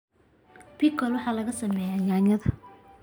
pickles waxaa laga sameeyaa yaanyada.